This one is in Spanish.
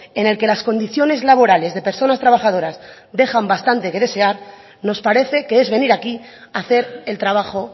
en el que las condiciones laborales de personas trabajadoras dejan bastante que desear nos parece que es venir aquí a hacer el trabajo